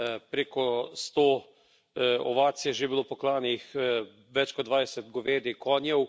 Preko sto ovac je že bilo poklanih, več kot dvajset govedi, konjev.